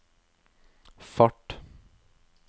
fart